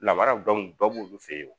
Lamaraw dɔ b'olu fe ye o